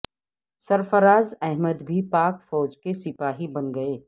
سرفراز احمد بھی پاک فوج کے سپاہی بن گئے